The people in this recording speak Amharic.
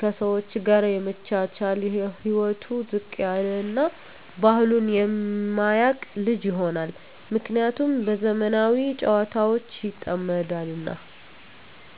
ከሰወች ጋር የመቻቻል ህይወቱ ዝቅ ያለ እና ባህሉን የማያቅ ልጅ ይሆናል። ምክንያቱም በዘመናዊ ጨዋታወች ይጠመዳልና።